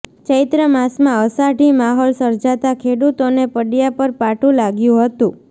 ચૈત્ર માસમાં અષાઢી માહોલ સર્જાતા ખેડુતોને પડયા પર પાટુ લાગ્યું હતું